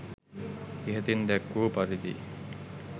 ඉහතින් දැක්වූ පරිදි